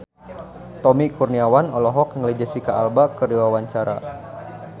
Tommy Kurniawan olohok ningali Jesicca Alba keur diwawancara